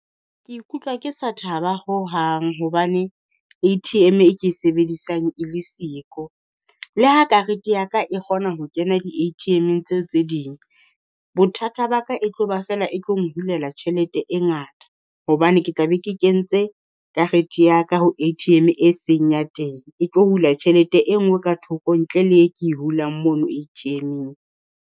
Ke ikutlwa ke sa thaba hohang hobane A_T_M e ke e sebedisang e le siko. Le ha karete ya ka e kgona ho kena di-A_T_M-eng tseo tse ding, bothata ba ka e tlo ba feela e tlo nghulela tjhelete e ngata. Hobane ke tla be ke kentse karete ya ka ho A_T_M e seng teng, e tlo hula tjhelete e nngwe ka thoko ntle le e ke e hulang mono A_T_M-eng.